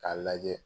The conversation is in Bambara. K'a lajɛ